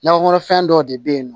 Nakɔkɔnɔ fɛn dɔ de bɛ yen nɔ